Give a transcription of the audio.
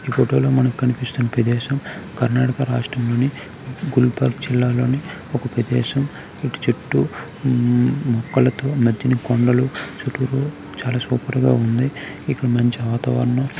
photo లో మనకి కనిపిస్తున్న ప్రదేశం కర్ణాటక రాష్ట్రం లోని గుల్పాకు జిల్లా లోని ఒక ప్రదేశం ఇటుచుట్టూ మొక్కలతో మధ్యన కొండలు చాల సూపర్ గ వుంది ఇక్కడ మంచి వాతావరణం --